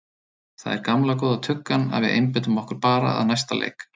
Það er gamla góða tuggan að við einbeitum okkur bara að næsta leik.